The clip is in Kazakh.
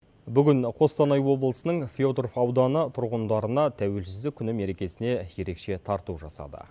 бүгін қостанай облысының федоров ауданы тұрғындарына тәуелсіздік күні мерекесіне ерекше тарту жасады